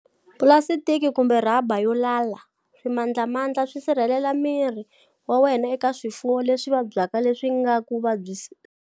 Pulasitiki, kumbe rhaba yo lala, swimandlamandla swi sirhelelela miri wa wena eka swifuwo leswi vabyaka leswi nga ku vabyisaka.